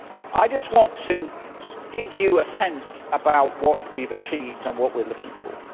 I just want to give you a sense of what we have achieved and what we are looking for.